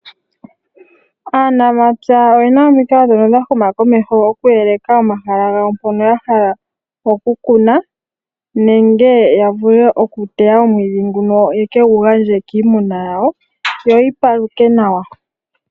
Aanamapya oyena omikalo ndhono dha huma komeho okuyeleka omahala gawo mpono ya hala okukuna nenge yavule okuteya omwiidhi nguno yekegu gandje kiimuna yawo yo yi paluke nawa